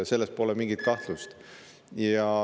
Selles pole mingit kahtlust.